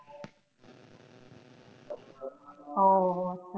ও আচ্ছা।